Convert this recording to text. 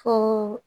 Fo